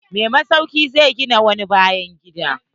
Mai masauki zai gina wani bayan gida.